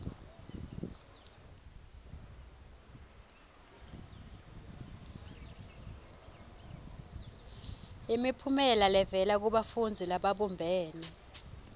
imiphumela levela kubafundzi lababumbene